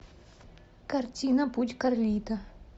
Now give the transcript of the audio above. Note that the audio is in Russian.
картина путь карлито